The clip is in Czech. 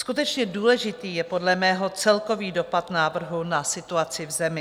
Skutečně důležitý je podle mého celkový dopad návrhu na situaci v zemi.